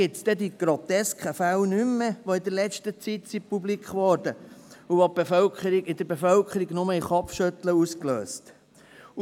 Die grotesken Fälle, die in letzter Zeit publik wurden und in der Bevölkerung nur Kopfschütteln auslösten, gibt es dann nicht mehr.